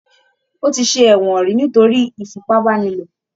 Ó ti ṣe ẹ̀wọ̀n ríi nítorí ìfipàbàniló.